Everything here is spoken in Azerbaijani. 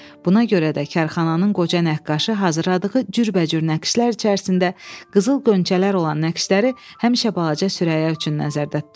Buna görə də karxananın qoca nəqqaşı hazırladığı cürbəcür naxışlar içərisində qızıl qönçələr olan naxışları həmişə balaca Sürəyya üçün nəzərdə tutardı.